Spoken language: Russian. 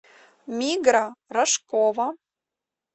мигра рожкова